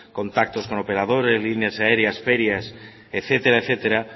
contactos con operadores líneas aéreas ferias etcétera etcétera